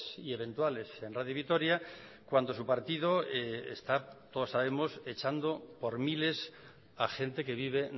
y eventuales en radio vitoria cuando su partido está todos sabemos echando por miles a gente que vive